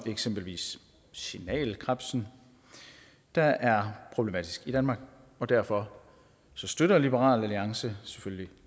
eksempelvis signalkrebsen der er problematiske i danmark og derfor støtter liberal alliance selvfølgelig